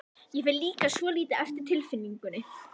Ég fer líka svolítið eftir tilfinningunni.